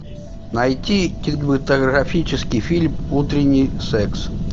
найти кинематографический фильм утренний секс